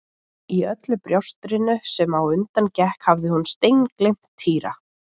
Í öllu bjástrinu sem á undan gekk hafði hún steingleymt Týra.